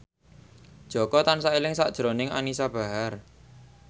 Jaka tansah eling sakjroning Anisa Bahar